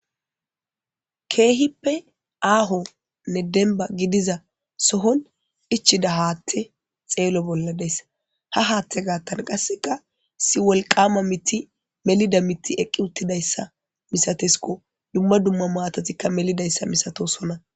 Kehippe aahonne dembba gidiza sohon ichida haatte xeelo bolla deayssi ha haatte gaattan qasseka issi wolqama miti melida miti eqqi uttidayssa misatesko dumma dumma maatatikka melidayssa misatosona.